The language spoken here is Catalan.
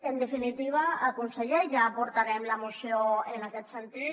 en definitiva conseller ja portarem la moció en aquest sentit